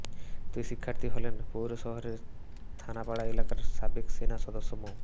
দুই শিক্ষার্থী হলেন পৌর শহরের থানাপাড়া এলাকার সাবেক সেনা সদস্য মো